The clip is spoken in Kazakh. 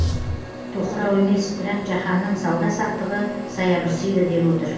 тоқырау емес бірақ жаһанның сауда саттығы саябырсиды деп отыр